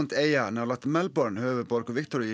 eyjan nálægt Melbourne höfuðborg